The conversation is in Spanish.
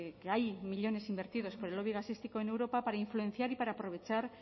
que hay millónes invertidos por el lobby gasístico en europa para influenciar y para aprovechar